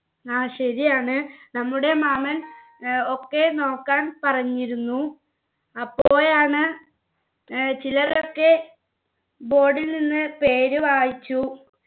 ആ ശരിയാണ് നമ്മുടെ മാമൻ ഏർ ഒക്കെ നോക്കാൻ പറഞ്ഞിരുന്നു അപ്പോഴാണ് ഏർ ചിലരൊക്കെ board ൽ നിന്ന് പേര് വായിച്ചു